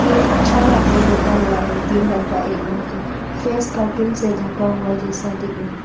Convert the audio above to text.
तीन चार आदमी बैठा हुआ है तीन लड़का एक लड़की फेस कार्टून से ढका हुआ जैसा दिख रहा है।